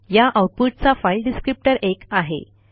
या आऊटपुटचा file descriptor एक आहे